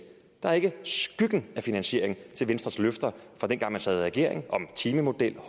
der er ikke skyggen af finansiering af venstres løfter fra dengang man sad i regering om timemodellen